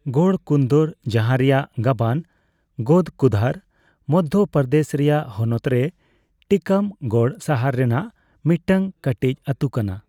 ᱜᱚᱲ ᱠᱩᱱᱫᱚᱨ, ᱡᱟᱦᱟᱸ ᱨᱮᱭᱟᱜ ᱜᱟᱵᱟᱱ ᱜᱚᱫᱷᱠᱩᱫᱷᱟᱨ, ᱢᱚᱫᱽᱫᱷᱚ ᱯᱨᱚᱫᱮᱥ ᱨᱮᱭᱟᱜ ᱦᱚᱱᱚᱛᱨᱮ ᱴᱤᱠᱟᱢᱜᱚᱲ ᱥᱟᱦᱟᱨ ᱨᱮᱱᱟᱜ ᱢᱤᱫᱴᱟᱝ ᱠᱟᱹᱴᱤᱡ ᱟᱹᱛᱩ ᱠᱟᱱᱟ ᱾